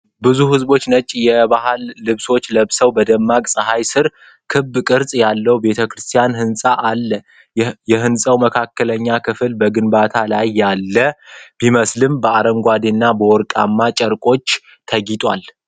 ብዙ ሕዝብ ነጭ የባህል ልብሶችን ለብሶ፣ በደማቅ ፀሐይ ስር ክብ ቅርጽ ያለው የቤተክርስቲያን ህንፃ አለ። የህንፃው መካከለኛ ክፍል በግንባታ ላይ ያለ ቢመስልም፣ በአረንጓዴና ወርቃማ ጨርቆች ተጊጧል።